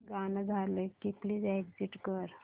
गाणं झालं की प्लीज एग्झिट कर